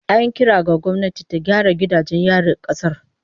An yi kira ga gwamnati ta gyara gidajen yarin kasar